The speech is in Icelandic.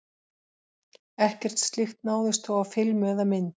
Ekkert slíkt náðist þó á filmu eða mynd.